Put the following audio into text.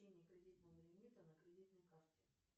кредитного лимита на кредитной карте